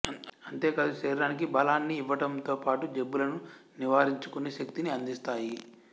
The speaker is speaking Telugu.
అంతేకాదు శరీరానికి బలాన్ని ఇవ్వటంతో పాటు జబ్బులను నివారించుకునే శక్తినీ అందిస్తాయి